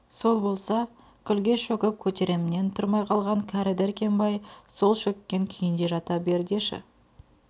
сол болса күлге шөгіп көтеремнен тұрмай қалған кәрі дәркембай сол шөккен күйінде жата бер деші